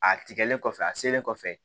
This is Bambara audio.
A tigɛlen kɔfɛ a selen kɔfɛ